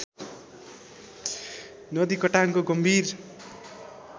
नदी कटानको गम्भिर